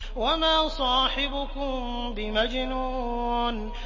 وَمَا صَاحِبُكُم بِمَجْنُونٍ